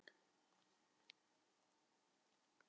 Hann stóð á fætur og gekk að glugganum.